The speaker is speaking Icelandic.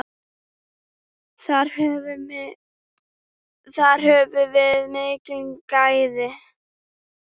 Þar höfum við mikil gæði.